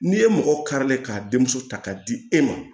N'i ye mɔgɔ karilen k'a denmuso ta k'a di e ma